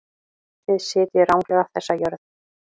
Þið sitjið ranglega þessa jörð.